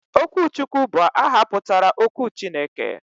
Okwuchukwu bu aha putara 'okwu Chineke'